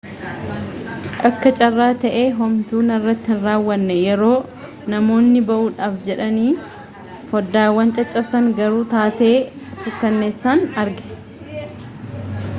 akka carraa ta'ee homtuu narratti hin raawwanne yeroo namoonni ba'uudhaaf jedhanii foddaawwan caccabsan garuu taatee suukkanneessaan arge